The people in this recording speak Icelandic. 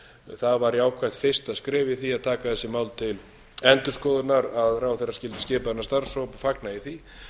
það var jákvætt fyrsta skref í því að taka þessi mál til endurskoðunar að ráðherra skyldi skipa þennan starfshóp fagna ég því